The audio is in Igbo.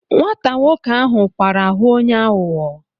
Nwata nwoke ahụ kwara ahụ onye aghụghọ.